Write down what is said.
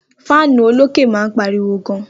Fáánù olókè máa ń pariwo gan